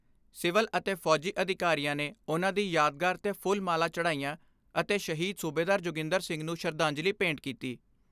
Civil ਅਤੇ ਫੌਜੀ ਅਧਿਕਾਰੀਆਂ ਨੇ ਉਨ੍ਹਾਂ ਦੀ ਯਾਦਗਾਰ 'ਤੇ ਫੁੱਲ ਮਾਲਾ ਚੜਾਈਆਂ ਅਤੇ ਸ਼ਹੀਦ ਸੂਬੇਦਾਰ ਜੋਗਿੰਦਰ ਸਿੰਘ ਨੂੰ ਸ਼ਰਧਾਂਜਲੀ ਭੇਂਟ ਕੀਤੀ।